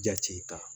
Jati ta